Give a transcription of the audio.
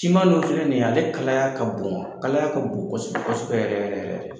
Siman dun filɛ ni ye ale kalaya ka bon, kalaya ka bon kosɛbɛ kɔsɛbɛ yɛrɛ yɛrɛ yɛrɛ